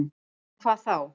En hvað þá?